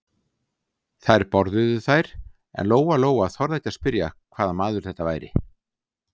Þær borðuðu þær en Lóa-Lóa þorði ekki að spyrja hvaða maður þetta væri.